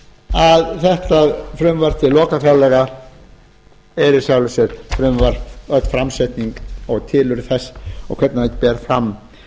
að þetta frumvarp til loka fjárlaga er í sjálfu sér frumvarp og öll framsetning og tilurð þess og hvernig það fer fram